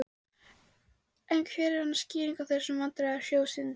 En hver er hans skýring á þessum vandræðum sjóðsins?